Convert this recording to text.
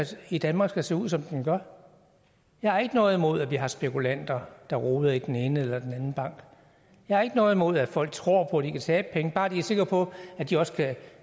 i danmark skal se ud som den gør jeg har ikke noget imod at vi har spekulanter der roder i den ene eller den anden bank jeg har ikke noget imod at folk tror på de kan tabe penge bare vi er sikre på at de også